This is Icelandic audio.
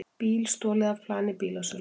Bíl stolið af plani bílasölu